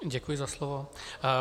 Děkuji za slovo.